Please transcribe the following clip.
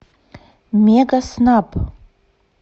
мегаснаб